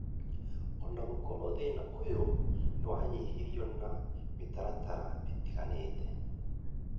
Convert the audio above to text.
o na gũkorwo thĩna ũyũ nĩ wanyihirio na mĩtaratara ĩtiganĩte,